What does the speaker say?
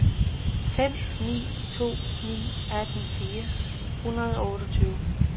fem ni to ni atten fire hundrede og otteogtyve